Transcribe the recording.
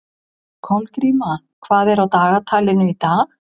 Kolgríma, hvað er á dagatalinu í dag?